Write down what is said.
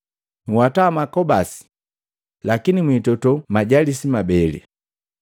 Nhwata makobasi, lakini mwitoto lijalisi mabele.”